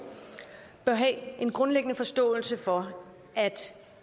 bør have en grundlæggende forståelse for at